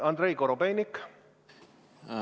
Andrei Korobeinik!